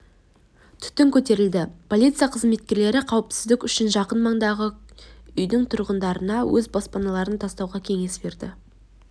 түтін көтерілді полиция қызметкерлері қауіпсіздік үшін жақын маңдағы үйдің тұрғындарына өз баспаналарын тастауға кеңес берді